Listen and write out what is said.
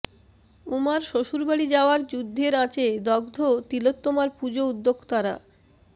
উমার শ্বশুরবাড়ি যাওয়ার যুদ্ধের আঁচে দগ্ধ তিলোত্তমার পুজো উদ্যোক্তারা